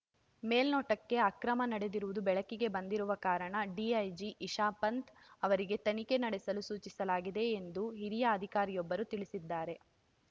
ಮೇಲ್ನೋಟಕ್ಕೆ ಅಕ್ರಮ ನಡೆದಿರುವುದು ಬೆಳಕಿಗೆ ಬಂದಿರುವ ಕಾರಣ ಡಿಐಜಿ ಇಶಾಪಂತ್‌ ಅವರಿಗೆ ತನಿಖೆ ನಡೆಸಲು ಸೂಚಿಸಲಾಗಿದೆ ಎಂದು ಹಿರಿಯ ಅಧಿಕಾರಿಯೊಬ್ಬರು ತಿಳಿಸಿದ್ದಾರೆ